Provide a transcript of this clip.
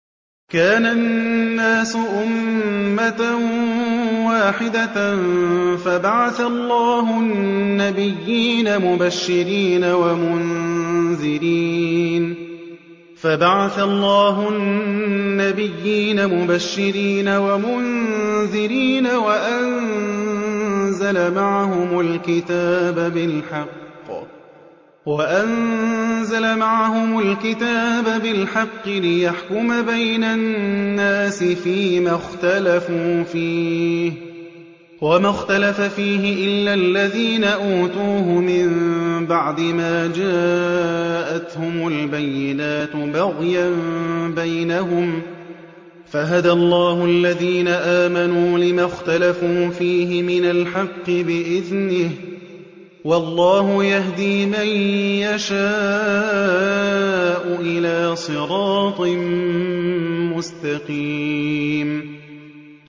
كَانَ النَّاسُ أُمَّةً وَاحِدَةً فَبَعَثَ اللَّهُ النَّبِيِّينَ مُبَشِّرِينَ وَمُنذِرِينَ وَأَنزَلَ مَعَهُمُ الْكِتَابَ بِالْحَقِّ لِيَحْكُمَ بَيْنَ النَّاسِ فِيمَا اخْتَلَفُوا فِيهِ ۚ وَمَا اخْتَلَفَ فِيهِ إِلَّا الَّذِينَ أُوتُوهُ مِن بَعْدِ مَا جَاءَتْهُمُ الْبَيِّنَاتُ بَغْيًا بَيْنَهُمْ ۖ فَهَدَى اللَّهُ الَّذِينَ آمَنُوا لِمَا اخْتَلَفُوا فِيهِ مِنَ الْحَقِّ بِإِذْنِهِ ۗ وَاللَّهُ يَهْدِي مَن يَشَاءُ إِلَىٰ صِرَاطٍ مُّسْتَقِيمٍ